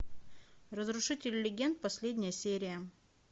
разрушители легенд последняя серия